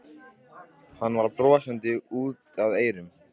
Hann var brosandi út að eyrum.